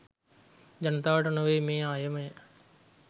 ජනතාව නොවේ මේ අයමය.